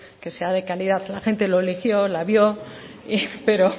que sea de calidad la gente lo eligió la vio pero